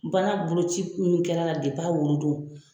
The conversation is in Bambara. Baara boloci minnu kɛr'a la a wolo don.